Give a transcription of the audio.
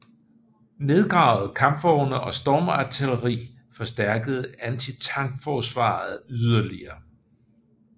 Nedgravede kampvogne og stormartilleri forstærkede antitankforsvaret yderligere